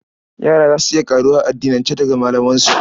Yara za su iya ƙaruwa a addinance daga malamansu.